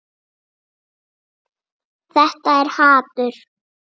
Þetta er hatur.